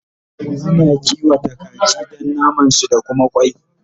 Ana kiwata kaji Dan naman su da Kuma kwai